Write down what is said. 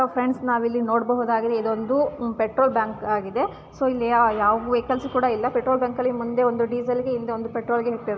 Hello friend ನಾವಿಲ್ಲಿ ನೋಡಬಹುದಾಗಿದೆ ಇದೊಂದು ಪೆಟ್ರೋಲ್ ಬ್ಯಾಂಕ್ ಆಗಿದೆ. ಇಲ್ಲಿ ಯ ಯಾವ ವೆಹಿಕಲ್ಸ್ ಕೂಡ ಇಲ್ಲ ಪೆಟ್ರೋಲ್ ಬಂಕ್‌ ಅಲ್ಲಿ ಮುಂದೆ ಒಂದು ಡೀಸೆಲ್ ಗೆ ಹಿಂದೆ ಪೆಟ್ರೋಲ್ ಗೆ --